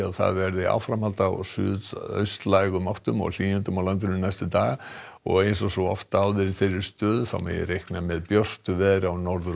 það verður áframhald á suðaustlægum átt og hlýindum á landinu næstu daga eins og svo oft áður í þeirri stöðu þá má reikna með björtu veðri á Norður og